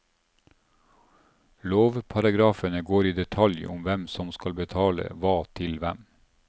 Lovparagrafene går i detalj om hvem som skal betale hva til hvem.